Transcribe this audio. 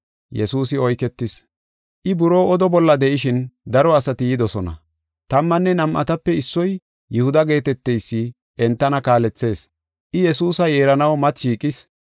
I buroo oda bolla de7ishin daro asati yidosona. Tammanne nam7atape issoy Yihuda geeteteysi entana kaalethees. I Yesuusa yeeranaw mati shiiqis.